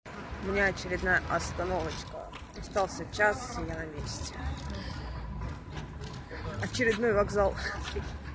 у меня очередная остановочка остался час и я на месте очередной вокзал